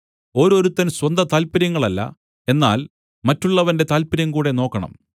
ഓരോരുത്തൻ സ്വന്ത താല്പര്യങ്ങളല്ല എന്നാൽ മറ്റുള്ളവന്റെ താല്പര്യം കൂടെ നോക്കേണം